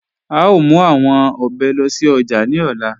À ó mú awọn òbè lóṣì ojá ní òlà.